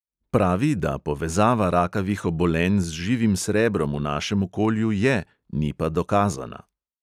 Pravi, da povezava rakavih obolenj z živim srebrom v našem okolju je, ni pa dokazana.